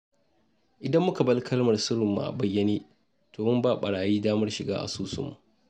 Idan muka bar kalmar sirrinmu a bayyane, to mun ba barayi damar shiga asusunmu.